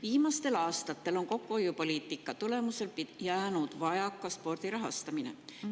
Viimastel aastatel on kokkuhoiupoliitika tõttu jäänud spordi rahastamisest vajaka.